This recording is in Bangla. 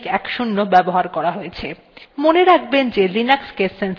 এই tutorial recording জন্য ubuntu সংস্করণ ১০ ১০ ব্যবহার করা হয়েছে